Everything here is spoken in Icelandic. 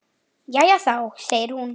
Jæja þá, segir hún.